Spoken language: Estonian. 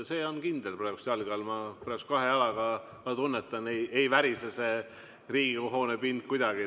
See on kindel praegu jalge all, ma kahe jalaga tunnetan, ei värise see Riigikogu hoone pind kuidagi.